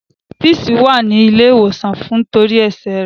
Peace wa ni ile ìwòsàn nitori ẹsẹ rẹ.